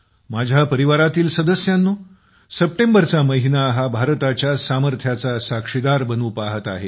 माझ्या परिवारातील सद्स्यांनो सप्टेंबरचा महिना हा भारताचच्या सामर्थ्याचां साक्षीदार बनू पहात आहे